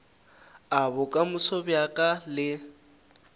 a bokamoso bja ka le